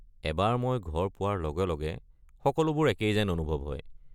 এবাৰ মই ঘৰ পোৱাৰ লগে লগে সকলোবোৰ একেই যেন অনুভৱ হয়।